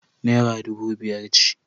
Naira dubu biyar ce.